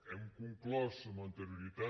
hem conclòs amb anterioritat